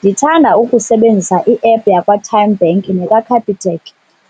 Ndithanda ukusebenzisa i-app yakwaTymeBank nekaCapitec,